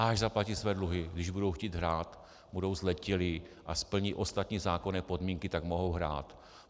Až zaplatí své dluhy, když budou chtít hrát, budou zletilí a splní ostatní zákonné podmínky, tak mohou hrát.